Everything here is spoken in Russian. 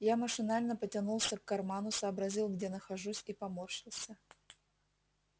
я машинально потянулся к карману сообразил где нахожусь и поморщился